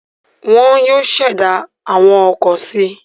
Wọn yóò ṣẹ̀dá àwọn ọkọ̀ si.